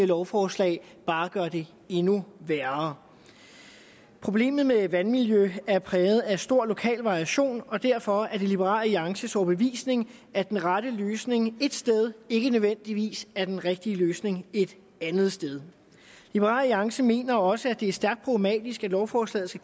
lovforslag bare gør det endnu værre problemet med vandmiljøet er præget af stor lokal variation og derfor er det liberal alliances overbevisning at den rette løsning ét sted ikke nødvendigvis er den rigtige løsning et andet sted liberal alliance mener også at det er stærkt problematisk at lovforslaget